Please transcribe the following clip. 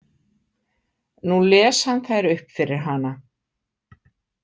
Nú les hann þær upp fyrir hana.